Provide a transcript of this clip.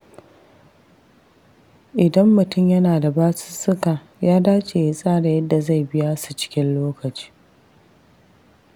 Idan mutum yana da basussuka, ya dace ya tsara yadda zai biya su cikin lokaci.